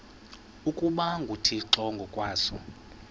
ukuba nguthixo ngokwaso